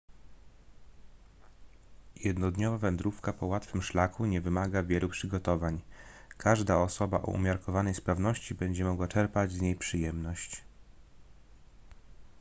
jednodniowa wędrówka po łatwym szlaku nie wymaga wielu przygotowań każda osoba o umiarkowanej sprawności będzie mogła czerpać z niej przyjemność